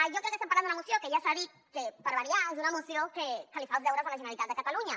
jo crec que estem parlant d’una moció que ja s’ha dit per variar és una moció que li fa els deures a la generalitat de catalunya